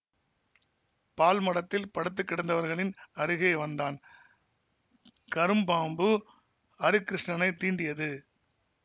பாழ்மடத்தில் படுத்து கிடந்தவர்களின் அருகே வந்தான் கரும்பாம்பு அரிகிருஷ்ணனைத் தீண்டியது